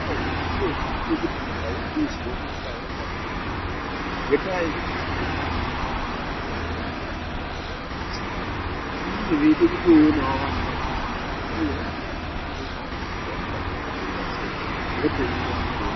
Zvona izvozvo ndozvinoite kuti nyika yedu izoonekawo pane dzimweni nyika ngendaa yekuti tinenge takutogadzirawo mitombo yedu inozi iyi yakagadzirwe kuZimbabwe. Vanenge veide kutoonawo vanthu vari kuZimbabwe uye vanenge veida kutoonawo kuti kuZimbabwe kwacho kwakamboita sei. Votouya kutoona.